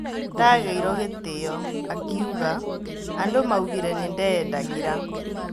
Ndagĩirwo gĩtĩo, "akiuga" Andũ maugĩre nĩndeyendagĩra.